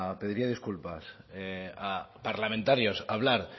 pediría disculpas a parlamentarios hablar